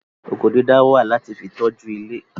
Oko dídá wà láti fi tọ́jú ilé